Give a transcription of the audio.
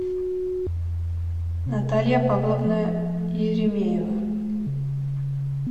наталья павловна еремеева